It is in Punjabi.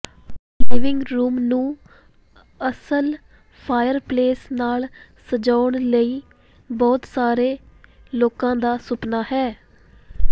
ਆਪਣੇ ਲਿਵਿੰਗ ਰੂਮ ਨੂੰ ਅਸਲ ਫਾਇਰਪਲੇਸ ਨਾਲ ਸਜਾਉਣ ਲਈ ਬਹੁਤ ਸਾਰੇ ਲੋਕਾਂ ਦਾ ਸੁਪਨਾ ਹੈ